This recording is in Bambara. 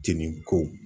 Jenin ko